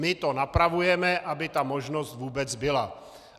My to napravujeme, aby ta možnost vůbec byla.